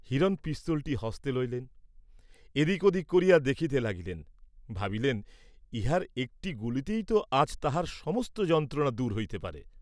হিরণ পিস্তলটি হস্তে লইলেন, এদিক ওদিক করিয়া দেখিতে লাগিলেন; ভাবিলেন ইহার একটি গুলিতেই তো আজ তাঁহার সমস্ত যন্ত্রণা দূর হইতে পারে।